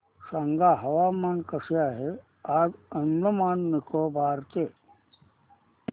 सांगा हवामान कसे आहे आज अंदमान आणि निकोबार चे